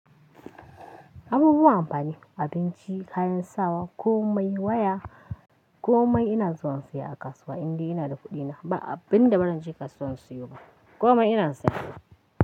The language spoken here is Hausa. Abubuwan amfani, abinci, kayan sawa, komai waya komai ina zuwa in siyo a kasuwa idan ina da kuɗina. Ba abin da ba zan je kasuwa in siyo ba, komai ina siyo.